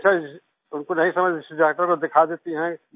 जैसे उनको नहीं समझ डॉक्टर को दिखा देती हैं